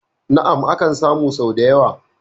Na'am, akan samu sau da yawa